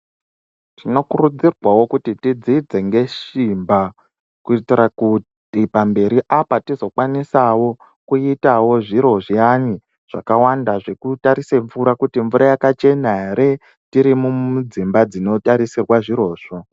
Tinokurudzirwawo kuti tidzidze nesimba kuitira kuti pamberi apa tizokwanisawo kuita zviro zviyani zvakawanda zvekutarisa mvura kuti yakachena here tiri mudzimba dzinotarisirwa zviro.